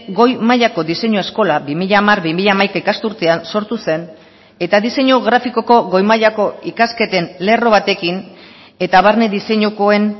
goi mailako diseinu eskola bi mila hamar bi mila hamaika ikasturtean sortu zen eta diseinu grafikoko goi mailako ikasketen lerro batekin eta barne diseinukoen